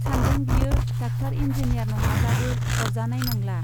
सानदों बियो doctor engineer नङाब्लाबो अरजानाय नंला।